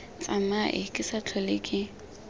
tsamae ke se tlhole ke